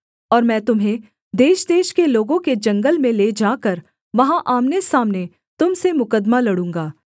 और मैं तुम्हें देशदेश के लोगों के जंगल में ले जाकर वहाँ आमनेसामने तुम से मुकद्दमा लड़ूँगा